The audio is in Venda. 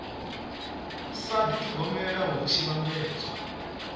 sa dithogomela hu tshi vhambedzwa